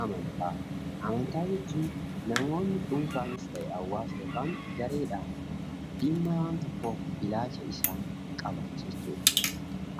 Amantaa, amantaa jechuun namoonni dhuunfaanis ta'ee hawaasa yokaan gareedhaan dhimma waan tokkoof ilaalcha isaan qaban jechuudha.